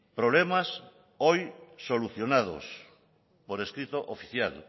problemas hoy solucionados por escrito oficial